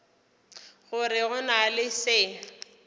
gore go na le se